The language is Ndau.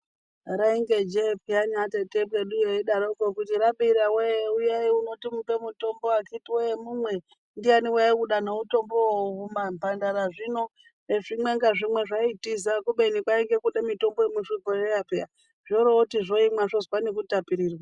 Rainge njee peyani atete ekweduyo eidaroko eiti rabira woye uyayi uno tikupei mutombo akiti woye mumwe ndiyani waiuda nemutombowo zvimamhandara zvino ngezvimwe ngazvimwe zvaitiza kubeni kwainge kude mitombo yemuzvibhehleya peyani zvooroti zvoimwa zvozwe nekutapirirwa .